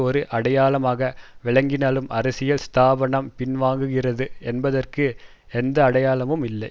ஒரு அடையாளமாக விளங்கினாலும் அரசியல் ஸ்தாபனம் பின்வாங்குகிறது என்பதற்கு எந்த அடையாளமும் இல்லை